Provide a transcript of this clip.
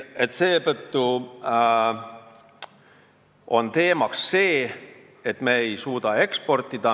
Seetõttu ongi teemaks see, et me ei suuda eksportida.